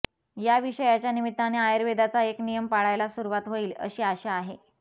या विषयाच्या निमित्ताने आयुर्वेदाचा एक नियम पाळायला सुरुवात होईल अशी आशा आहे